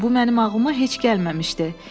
Bu mənim ağlıma heç gəlməmişdi.